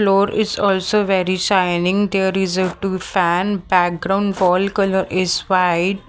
Floor is also very shining there is a two fan background wall colour is white.